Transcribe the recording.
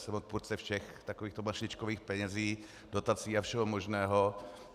Jsem odpůrce všech takovýchto mašličkových peněz, dotací a všeho možného.